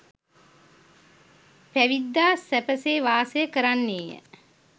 පැවිද්දා සැපසේ වාසය කරන්නේය.